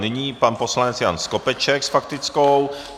Nyní pan poslanec Jan Skopeček s faktickou.